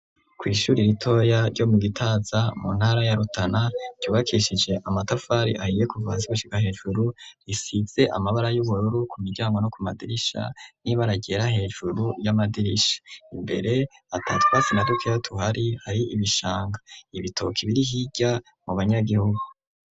Kwishuri ritoya ryo mu Gitaza mu ntara ya Rutana ryubakishije amatafari ahiye kuva hasi gushika hejuru risize amabara y'ubururu ku miryango no ku madirisha n'ibara ryera hejuru y'amadirisha imbere atatwatsi na dukera tuhari hari ibishanga ibitoki biri hirya mu banyagihugu .